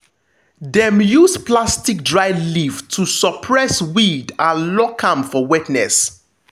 dem use platstic dryleaf to suppress weed and lock am for wetness.